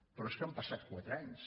però és que han passat quatre anys